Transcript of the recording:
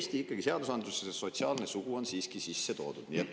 Seega, Eesti seadusandlusesse on sotsiaalse soo ikkagi sisse toodud.